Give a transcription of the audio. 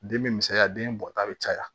Den be misɛnya den bɔta be caya